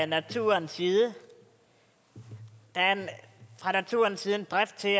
naturens side der er fra naturens side en drift til at